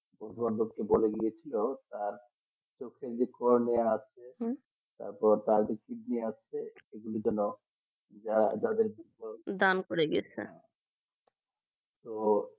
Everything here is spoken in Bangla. তোমার দুঃখিতলা গিয়েছিল যা চোখে যা মনে আছে তারপর তার কিডনি আছে যাদের কোন দান করে দিয়েছে তো